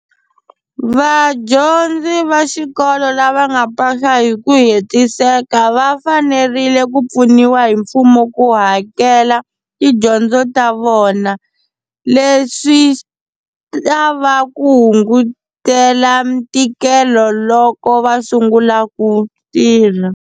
Vadyondzi va xikolo lava nga pasa hi ku hetiseka va fanerile ku pfuniwa hi mfumo ku hakela tidyondzo ta vona leswi ta va ku hungutela ntikelo loko va sungula ku tirha.